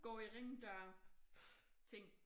Gå i ring dør ting